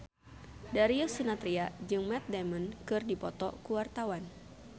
Darius Sinathrya jeung Matt Damon keur dipoto ku wartawan